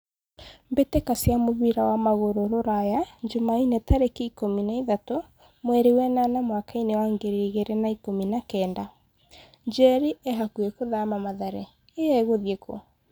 Mbĩtĩka cia mũbira wa magũrũ Ruraya Jumaine tarĩki ikũmi na ithatũ mweri wenana mwakainĩ wa ngiri igĩrĩ na ikũmi na kenda. 'Njeri e hakuhĩ gũthama Mathare' ĩ egũthiĩ kũ?